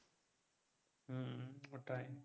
ওটাই,